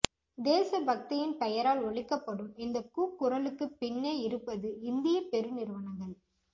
தேசபக்தியின் பெயரால் ஒலிக்கப்படும் இந்தக் கூக்குரலுக்குப் பின்னே இருப்பது இந்தியப் பெருநிறுவனங்கள்